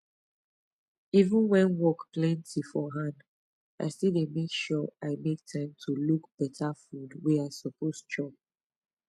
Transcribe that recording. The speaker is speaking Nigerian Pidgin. even when work plenty for hand i still dey make sure i make time to look better food wey i suppose chop